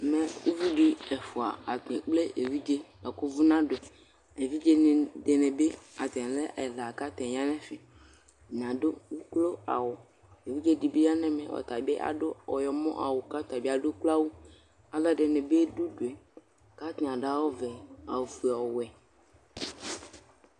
ɛmɛ uvi di ɛfua atani ekple evidze boa ko uvò nado yi evidze di ni bi atani lɛ ɛla kò atani ya n'ɛfɛ atani ado uklo awu evidze di bi ya n'ɛmɛ ɔtabi ado ɔyɔmɔ awu kò ɔtabi ado uklo awu aloɛdini bi do udue k'atani ado awu vɛ awu fue ɔwɛ